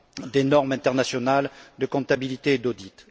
des normes internationales de comptabilité et d'audit.